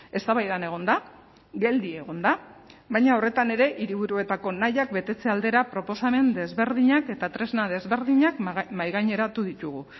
eztabaidan egon da geldi egon da baina horretan ere hiriburuetako nahiak betetze aldera proposamen desberdinak eta tresna desberdinak mahaigaineratu ditugu